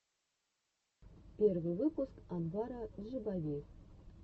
первый выпуск анвара джибави